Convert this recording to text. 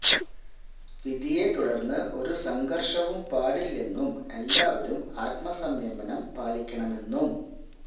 വിധിയെ തുടര്ന്ന് ഒരു സംഘര്ഷവും പാടില്ലെന്നും എല്ലാവരും ആത്മ സംയമനം പാലിക്കണമെന്നും